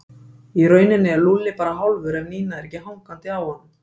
Í rauninni er Lúlli bara hálfur ef Nína er ekki hangandi á honum